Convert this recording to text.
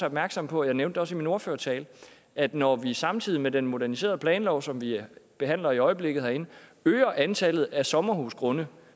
opmærksom på jeg nævnte det også i min ordførertale at når vi samtidig med den moderniserede planlov som vi behandler i øjeblikket herinde øger antallet af sommerhusgrunde